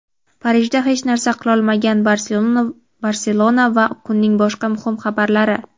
Parijda hech narsa qilolmagan "Barselona" va kunning boshqa muhim xabarlari.